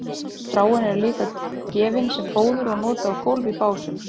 stráin eru líka gefin sem fóður og notuð á gólf í básum